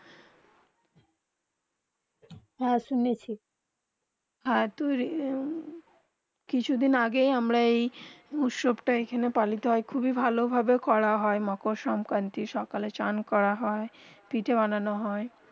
হেঁ শুনেছি আর তুই কিছু দিন আগে আমরা যেই উৎসবটা আখ্যানে পালিতা খুবই ভালো ভাবে করা হয়ে মাকার সংকৃতি সকালে চান করা হয়ে পিঠে বানানো হয়ে